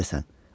Nə edəsən?